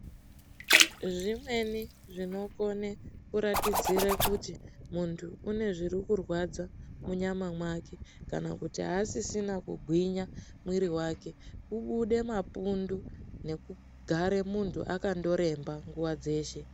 Zvimweni zvinokone kuratudzire kuti munthu unezvirikurwadza, munyama make, kana kuti hasisina kugwinya mwiri wake, ubude mapundu nekugare muntu akandoremba nguwa dzeshe.